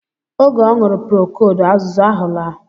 Oge ọ ñụrụ prokold azuzu ahụ alaa